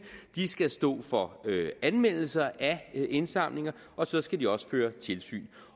det nævn skal stå for anmeldelser af indsamlinger og så skal de også føre tilsyn